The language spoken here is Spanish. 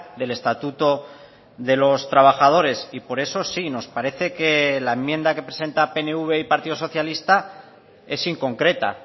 del estatuto de los trabajadores y por eso sí nos parece que la enmienda que presenta pnv y partido socialista es inconcreta